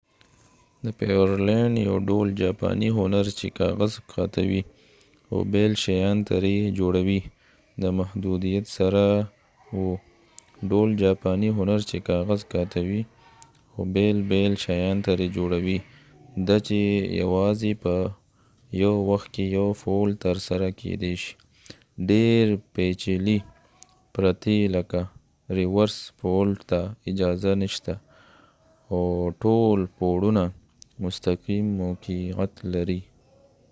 د پيورلینډ یو ډول جاپانی هنر چې کاغذ قاتوي او بېل شیان ترې جوړوي د محدودیت سره و ډول جاپانی هنر چې کاغذ قاتوي او بېل بېل شیان ترې جوړوي ده چې یوازې په یو وخت کې یو فولډ ترسره کیدی شي ډیر پیچلي پرتې لکه ریورس فولډ ته اجازه نشته او ټول پوړونه مستقیم موقعیت لري